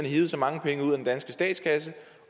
hevet så mange penge ud af den danske statskasse